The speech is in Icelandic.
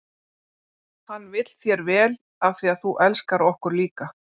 Hann vill þér vel af því að þú elskar okkur líka.